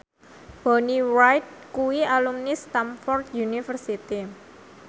Bonnie Wright kuwi alumni Stamford University